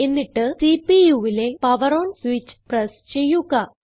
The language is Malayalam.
എന്നിട്ട് CPUവിലെ പവർ ഓൺ സ്വിച്ച് പ്രസ് ചെയ്യുക